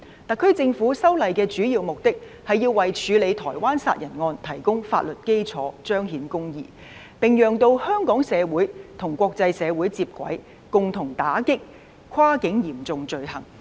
特區政府修例的主要目的，是為處理台灣殺人案提供法律基礎，彰顯公義，並讓香港社會與國際社會接軌，共同打擊跨境嚴重罪行。